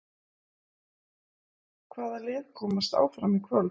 Hvaða lið komast áfram í kvöld?